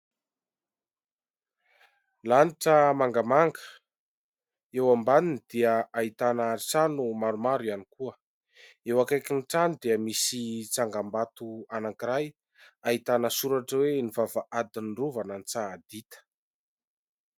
Lanitra mangamanga. Eo ambaniny dia ahitana trano maromaro ihany koa. Eo akaikin'ny trano dia misy tsangambato anankiray ahitana soratra hoe "Ny vavahadin'ny rovan'Antsahadinta" .